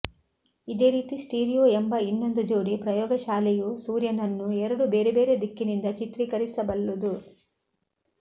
ಇದೇ ರೀತಿ ಸ್ಟೀರಿಯೋ ಎಂಬ ಇನ್ನೊಂದು ಜೋಡಿ ಪ್ರಯೋಗಶಾಲೆಯೂ ಸೂರ್ಯನನ್ನೂ ಎರಡು ಬೇರೆ ಬೇರೆ ದಿಕ್ಕಿನಿಂದ ಚಿತ್ರೀಕರಿಸಬಲ್ಲುದು